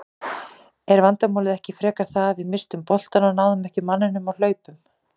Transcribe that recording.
Er vandamálið ekki frekar það að við misstum boltann og náðum ekki manninum á hlaupum?